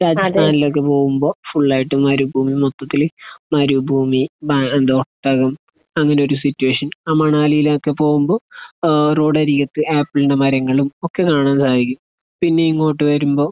രാജസ്ഥാനിലേക്ക് പോകുമ്പോൾ ഫുൾ ആയിട്ട് മരുഭൂമി മൊത്തത്തിൽ മരുഭൂമി. ബ എന്താ ഒട്ടകം. അങ്ങനെയൊരു സിറ്റുവേഷൻ. ആ മണാലിയിലേക്ക് പോകുമ്പോൾ ഏഹ് റോഡരികത്ത് ആപ്പിളിന്റെ മരങ്ങളും ഒക്കെ കാണാൻ സാധിക്കും. പിന്നെ ഇങ്ങോട്ട് വരുമ്പോൾ